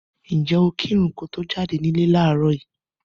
Ǹjẹ́ o kírun ko to jáde nílé láàárọ̀ yìí?